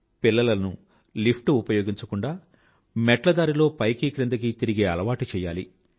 పిల్లలను లిఫ్ట్ ఉపయోగించకుండా మెట్ల దారిలో పైకి క్రిందకీ తిరిగే అలవాటి చెయ్యాలి